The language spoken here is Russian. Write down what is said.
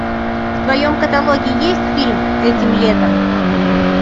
в твоем каталоге есть фильм этим летом